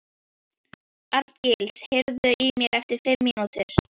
Arngils, heyrðu í mér eftir fimm mínútur.